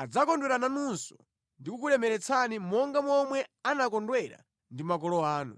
adzakondwera nanunso ndi kukulemeretsani monga momwe anakondwera ndi makolo anu,